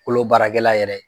Kolo baarakɛla yɛrɛ